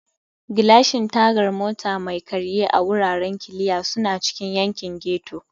Gilashin Tagar Mota Mai Karye a Wuraren Kiliya suna cikin yankin ghetto.